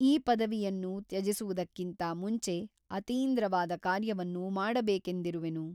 ಈ ಪದವಿಯನ್ನು ತ್ಯಜಿಸುವುದಕ್ಕಿಂತ ಮುಂಚೆ ಅತೀಂದ್ರವಾದ ಕಾರ್ಯವನ್ನು ಮಾಡಬೇಕೆಂದಿರುವೆನು.